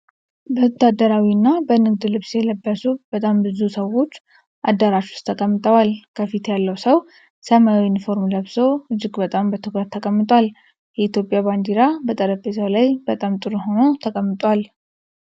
በወታደራዊና በንግድ ልብስ የለበሱ በጣም ብዙ ሰዎች አዳራሽ ውስጥ ተቀምጠዋል። ከፊት ያለው ሰው ሰማያዊ ዩኒፎርም ለብሶ እጅግ በጣም በትኩረት ተቀምጧል። የኢትዮጵያ ባንዲራ በጠረጴዛው ላይ በጣም ጥሩ ሆኖ ተቀምጧል።